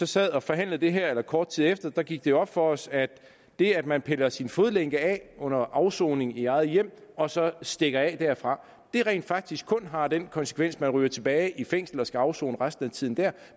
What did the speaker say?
sad og forhandlede det her eller kort tid efter gik det op for os at det at man piller sin fodlænke af under afsoning i eget hjem og så stikker af derfra rent faktisk kun har den konsekvens at man ryger tilbage i fængslet og skal afsone resten af tiden dér